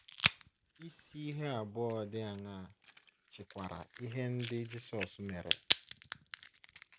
Isi ihe abụọ dị aṅaa chịkwara ihe ndị Jisọs mere?